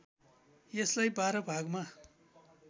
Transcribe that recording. यसलाई १२ भागमा